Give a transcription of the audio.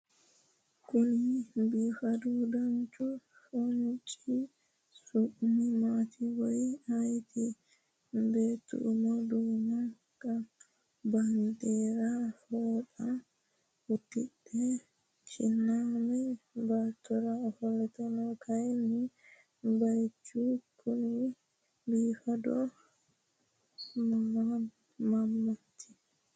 Kuni biifadu danchu foonchi su'mi maati woyi ayiiti ? Beetto umo duume baandiiraame fooxa uddidhe kinaame baattora ofolte no. Kayinni bayichu Kuni biifadu mamaati ?